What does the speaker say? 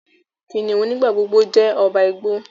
Kìnìún nigbagbogbo jé ọba igbó.